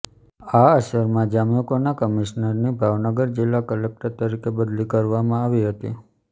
આ અરસામાં જામ્યુકોના કમિશ્નરની ભાવનગર જીલ્લા કલેકટર તરીકે બદલી કરવામાં આવી હતી